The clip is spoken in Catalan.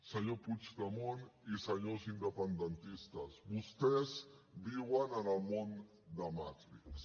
senyor puigdemont i senyors independentistes vostès viuen en el món de matrix